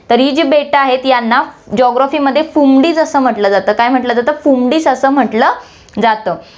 तर ही जी बेटं आहेत, यांना geography मध्ये असं म्हंटलं जातं, काय म्हंटलं जातं, असं म्हंटलं जातं